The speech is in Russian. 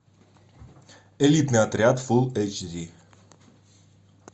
элитный отряд фулл эйч ди